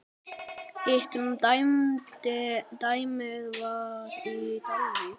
Hitt dæmið var í Dalvík.